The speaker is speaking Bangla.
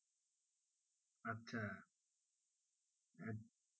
আচ্ছা আহ